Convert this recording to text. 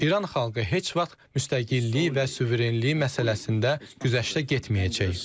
İran xalqı heç vaxt müstəqilliyi və suverenliyi məsələsində güzəştə getməyəcək.